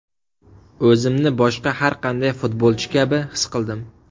O‘zimni boshqa har qanday futbolchi kabi his qildim.